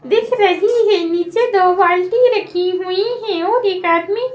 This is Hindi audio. दिख रही है नीचे दो बाल्टी रखी हुई है और एक आदमी--